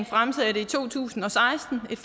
fremsatte i to tusind og seksten et